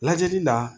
Lajɛli la